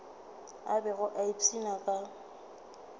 a bego a ipshina ka